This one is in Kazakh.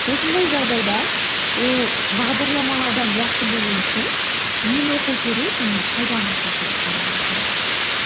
осындай жағдайда ол бағдарламалаудан жақсы болу үшін нені оқу керек және қайдан бастау керек деп ойлайсыңдар